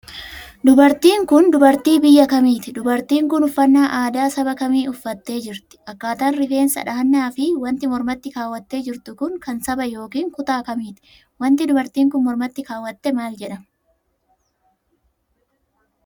Dubartiin kun, dubartii biyya kamiiti? Dubartiin kun, uffannaa aadaa saba kamiit uffattee jirti? Akkaataan rifeensa dhahannaa fi wanti mormatti kaawwattee jirtu kun, kan saba yokin kutaa kamiiti? Wanti dubartiin kun mormatti kaawwatte maal jedhama?